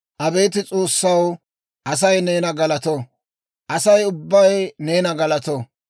Abeet S'oossaw, Asay neena galato; asay ubbay neena galato.